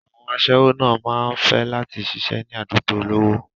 Àwọn àṣẹ́wó náà máa fẹ́ láti ṣiṣẹ́ ní àdúgbò olówó.